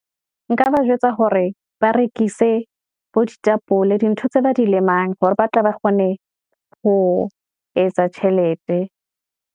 Nka ba jwetsa hore ba rekise bo ditapole, di ntho tse ba di lemang hore ba tle ba kgone, ho etsa tjhelete.